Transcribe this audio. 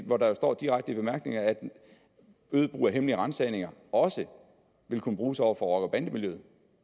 hvor der jo står direkte i bemærkningerne at øget brug af hemmelige ransagninger også vil kunne bruges over for rocker bande miljøet